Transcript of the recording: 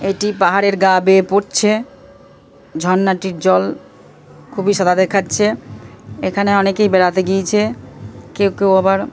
এটি পাহাড়ের গা বেয়ে পড়ছে। ঝর্ণাটির জল খুবই সাদা দেখাচ্ছে। এখানে অনেকেই বেড়াতে গিয়েছে। কেউ কেউ আবার--